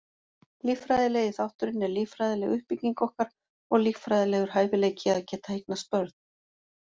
Líffræðilegi þátturinn er líffræðileg uppbygging okkar og líffræðilegur hæfileiki að geta eignast börn.